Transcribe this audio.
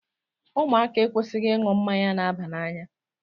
Ụmụaka ekwesịghị ịṅụ mmanya na-aba n'anya.